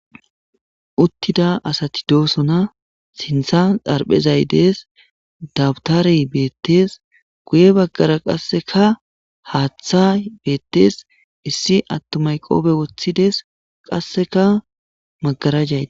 Uttida asati doosona sintha xarphezay dees dabutare beettes guye baggara qasseka haaththa beettees issi attu mayqoobe woththides qasseka magarajaya.